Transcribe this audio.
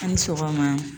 An ni sɔgɔma